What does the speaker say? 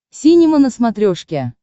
синема на смотрешке